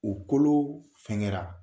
U kolo fɛn kɛra